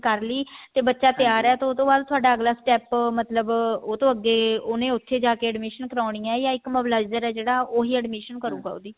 ਕਰਲੀ ਤੇ ਬੱਚਾ ਤਿਆਰ ਹੈ ਤੇ ਉਹਤੋਂ ਬਾਅਦ ਥੋਡਾ ਅਗਲਾ step ਮਤਲਬ ਉਹਤੋਂ ਅੱਗੇ ਉਹਨੇ ਉੱਥੇ ਜਾ ਕੇ admission ਕਰਵਾਉਣੀ ਹੈ ਯਾ ਇੱਕ mobilizer ਹੈ ਜਿਹੜਾ ਉਹ admission ਕਰੂਗਾ